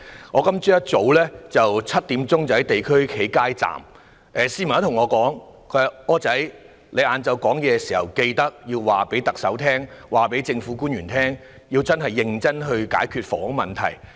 我今天早上7時在地區街站工作時，便有市民對我說："'柯仔'，你在下午發言時，定必要求特首和政府官員認真解決房屋問題。